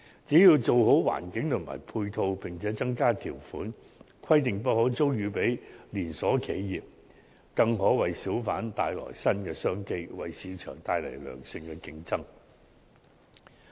只要做好環境和配套，並增加條款，規定不可租予連鎖企業，便可為小販商帶來新的商機，為市場帶來良性競爭。